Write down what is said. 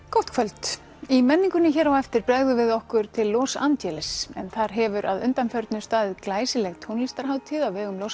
gott kvöld í menningunni hér á eftir bregðum við okkur til Los Angeles en þar hefur að undanförnu staðið glæsileg tónlistarhátíð á vegum Los